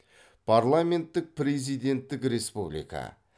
парламенттік президенттік республика